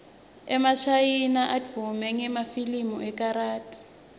emashayina advume ngemafilimu ekarathi